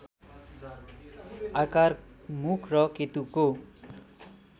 आकार मुख र केतुको